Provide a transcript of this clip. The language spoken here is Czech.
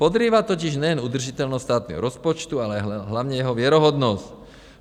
Podrývá totiž nejen udržitelnost státního rozpočtu, ale hlavně jeho věrohodnost.